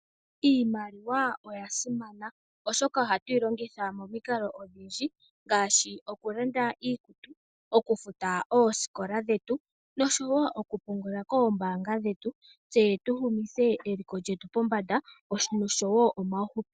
Iimaliwa oya simana oshoka ohatuyi longitha momikalo odhindji ngaashi okulanda iikutu ,okufuta oosikola dhetu oshowo oku pungula kombaanga dhetu tse tu humithe eliko lyetu pombanda oshowo omauhupilo.